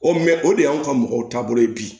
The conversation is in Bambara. O mɛ o de y'anw ka mɔgɔw taabolo ye bi